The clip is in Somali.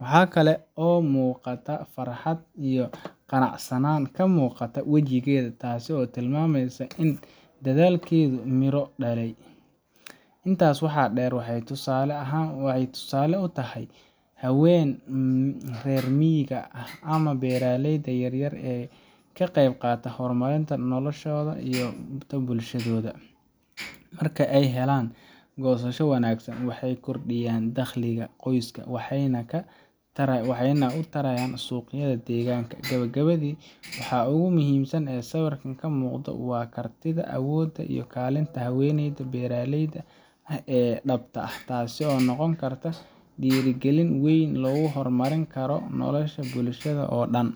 Waxa kale oo muuqata farxad iyo qanacsanaan ka muuqata wejigeeda, taas oo tilmaamaysa in dadaalkeedu midho dhalay. Intaa waxaa dheer, waxay tusaale u tahay haweenka reer miyiga ama beeraleyda yaryar ee ka qayb qaata horumarinta noloshooda iyo tan bulshadooda. Mark ay helaan goosasho wanaagsan, waxay kordhiyaan dakhliga qoyska, waxayna wax u tarayaan suuqyada deegaanka. Gabagabadii, waxa ugu muhiimsan ee sawirkan ka muuqda waa kartida, awoodda iyo kaalinta haweeneyda beeraleyda ah ee dhabta ah, taas oo noqon karta dhiirrigelin weyn oo lagu horumarin karo nolosha bulshada oo dhan.